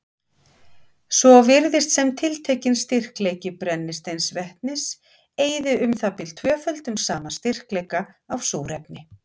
Svo virðist sem tiltekinn styrkleiki brennisteinsvetnis eyði um það bil tvöföldum sama styrkleika af súrefni.